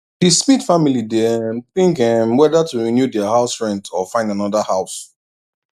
the smith family dey um think um weather to renew their house rent or find another house